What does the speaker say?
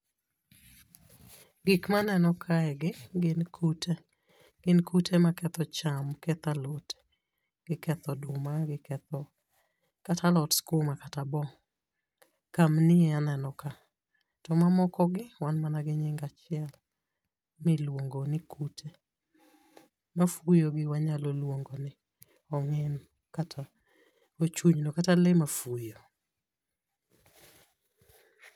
Gik maneno kae gi gin kute. Gin kute maketho cham, ketho alot, giketho oduma, giketho kata alot skuma kata bo. Kamnio aneno ka, to mamoko gi wan mana gi nying achiel, be iluongo ni kute. Mafuyo gi wanyalo luongo ni ong'ino kata ochunyno kata lee mafuyo.